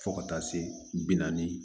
Fo ka taa se bi naani